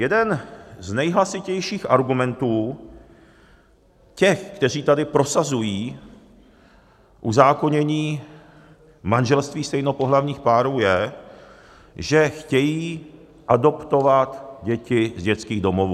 Jeden z nejhlasitějších argumentů těch, kteří tady prosazují uzákonění manželství stejnopohlavních párů, je, že chtějí adoptovat děti z dětských domovů.